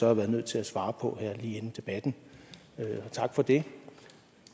har været nødt til at svare på her lige inden debatten og tak for det